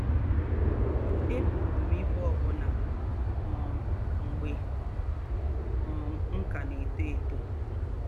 Ébùrù m íbú òbù̀nà um mgbè um m̀ kà nà-ètó étó